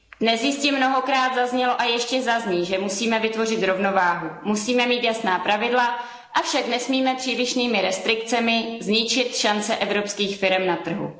Dnes jistě mnohokrát zaznělo a ještě zazní, že musíme vytvořit rovnováhu musíme mít jasná pravidla, avšak nesmíme přílišnými restrikcemi zničit šance evropských firem na trhu.